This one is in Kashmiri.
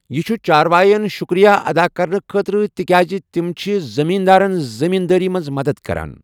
یہِ چھُ چاروایَن شکریہ ادا کرنہٕ خٲطرٕ تِکیازِ تِم چھِ زٔمیٖن دارن زٔمیٖن دٲری منٛز مدد کران۔